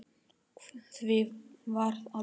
Því var aldrei svarað.